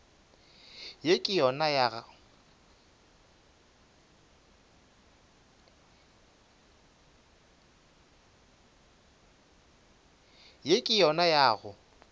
ye ke yona ya go